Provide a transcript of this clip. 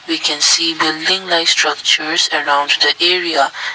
we can see the building like structures around the area.